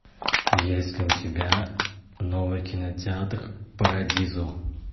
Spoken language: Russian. есть ли у тебя новый кинотеатр парадизо